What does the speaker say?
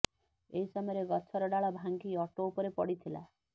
ଏହି ସମୟରେ ଗଛର ଡାଳ ଭାଙ୍ଗି ଅଟୋ ଉପରେ ପଡ଼ିଥିଲା